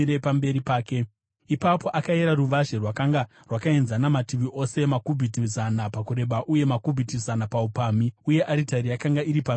Ipapo akayera ruvazhe: Rwakanga rwakaenzana mativi ose, makubhiti zana pakureba, uye makubhiti zana paupamhi. Uye aritari yakanga iri pamberi petemberi.